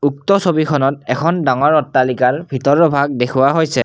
উক্ত ছবিখনত এখন ডাঙৰ অট্টালিকাৰ ভিতৰৰ ভাগ দেখুওৱা হৈছে।